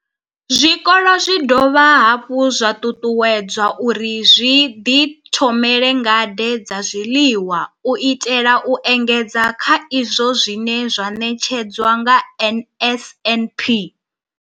Zwikolo zwi khou dovha hafhu zwa ṱuṱuwedzwa uri zwi ḓi thomele ngade dza zwiḽiwa u itela u engedza kha izwo zwine zwa ṋetshedzwa nga NSNP.